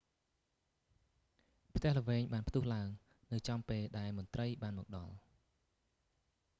ផ្ទះល្វែងបានផ្ទុះឡើង នៅចំពេលដែលមន្ត្រីបានមកដល់